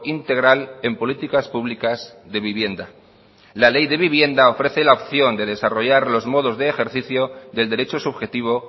integral en políticas públicas de vivienda la ley de vivienda ofrece la opción de desarrollar los modos de ejercicio del derecho subjetivo